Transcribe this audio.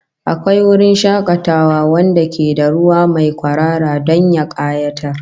Akwai wurin shakatawa wanda ke da ruwa mai kwarara don ya kayatar